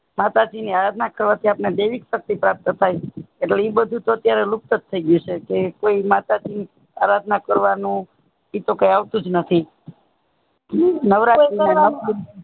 માતા જી ની આરાધના કરવા થી આપને દૈવી શક્તિ પ્રાપ્ત થાય છે એટલે એ બધું તો અત્યારે લુપ્ત થઇ ગયું છે કોઈ માતા જી ની આરાધના કરવાનું એતો કે આવતુંજ નથી